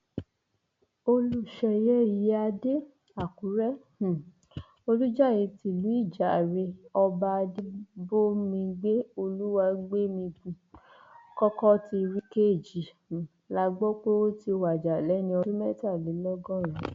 olùṣeyẹ ìyíáde àkùrẹ um olùjàre tìlú ìjàre ọba adébómígbé olùwágbémigun kọkọtírí kejì um la gbọ pé ó ti wájà lẹni ọdún mẹtàlélọgọrin